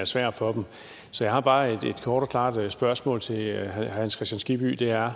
er svært for dem så jeg har bare et kort og klart spørgsmål til herre hans kristian skibby det er